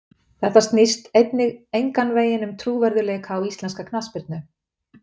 Þetta snýst einnig engan veginn um trúverðugleika á íslenska knattspyrnu.